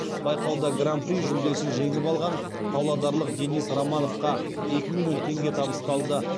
байқауда гран при жүлдесін жеңіп алған павлодарлық денис романовқа екі миллион теңге табысталды